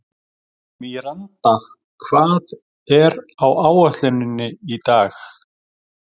Míranda, hvað er á áætluninni minni í dag?